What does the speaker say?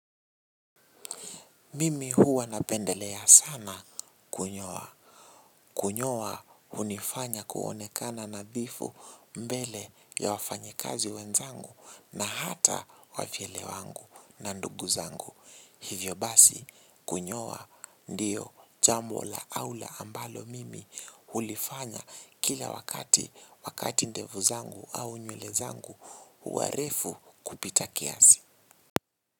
Mimi huwa napendelea sana kunyoa. Kunyoa hunifanya kuonekana nadhifu mbele ya wafanyikazi wenzangu na hata wafyele wangu na ndugu zangu. Hivyo basi kunyoa ndiyo jambo la aula ambalo mimi hulifanya kila wakati wakati ndevu zangu au nywele zangu huwa refu kupita kiasi.